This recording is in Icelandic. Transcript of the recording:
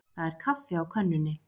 Það er kaffi á könnunni.